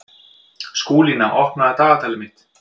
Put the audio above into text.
Skúlína, opnaðu dagatalið mitt.